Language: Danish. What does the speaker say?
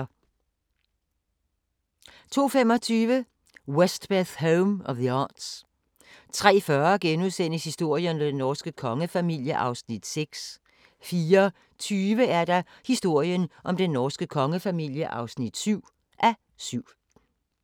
02:25: Westbeth Home of The Arts 03:40: Historien om den norske kongefamilie (6:7)* 04:20: Historien om den norske kongefamilie (7:7)